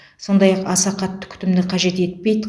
сондай ақ аса қатты күтімді қажет етпейді